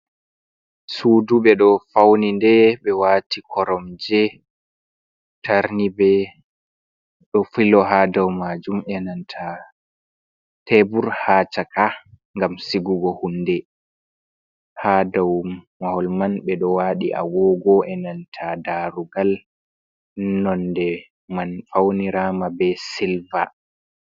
Sudu ɓeɗo fauni nde ɓeɗo wati koromje tarnibe ɗo filo ha ɗau majum enanta tebur ha chaka gam sigugo hunde, ha ɗau maholman ɓeɗo waɗi agogo enanta darugal nonde man faunirama be silver.